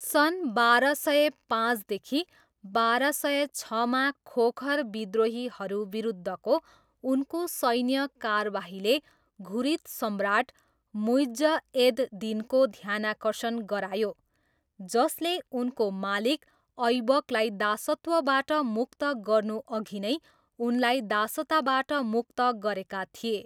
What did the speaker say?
सन् बाह्र सय पाँचदेखि बाह्र सय छमा खोखर विद्रोहीहरू विरुद्धको उनको सैन्य कारबाहीले घुरिद सम्राट मुइज्ज एद दिनको ध्यानाकर्षण गरायो, जसले उनको मालिक ऐबकलाई दासत्वबाट मुक्त गर्नुअघि नै उनलाई दासताबाट मुक्त गरेका थिए।